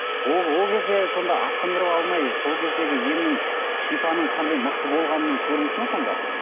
ол кезде сонда асқындырып алмай сол кездегі емнің шипаның қандай мықты болғанының көрінісі ме сонда